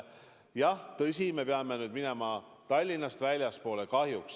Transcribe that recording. Jah, tõsi, me peame nüüd minema jutuga Tallinnast väljapoole kahjuks.